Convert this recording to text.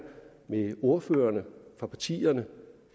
med ordførerne fra partierne